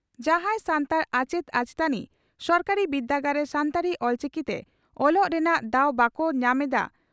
ᱡᱟᱦᱟᱸᱭ ᱥᱟᱱᱛᱟᱲ ᱟᱪᱮᱛ ᱟᱪᱮᱛᱟᱹᱱᱤ ᱥᱚᱨᱠᱟᱨᱤ ᱵᱤᱨᱫᱟᱹᱜᱟᱲ ᱨᱮ ᱥᱟᱱᱛᱟᱲᱤ (ᱚᱞᱪᱤᱠᱤ) ᱛᱮ ᱚᱞᱚᱜ ᱨᱮᱱᱟᱜ ᱫᱟᱣ ᱵᱟᱠᱚ ᱧᱟᱢ ᱮᱫᱼᱟ